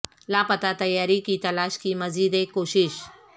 لاپتہ طیارے کی تلاش کی مزید ایک کوشش